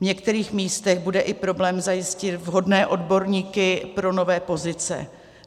V některých místech bude i problém zajistit vhodné odborníky pro nové pozice.